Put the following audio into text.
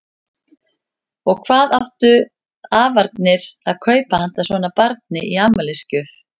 Og hvað áttu afarnir að kaupa handa svona barni í afmælisgjöf?